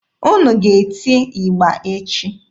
Unu ga-eti ịgba echi!